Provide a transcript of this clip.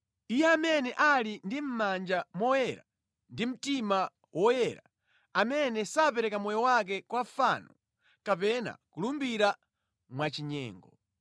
Iye amene ali ndi mʼmanja moyera ndi mtima woyera, amene sapereka moyo wake kwa fano kapena kulumbira mwachinyengo.